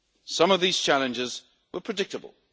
Some of these challenges were predictable.